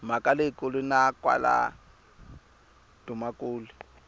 mhaka leyikulu na kwala dumakule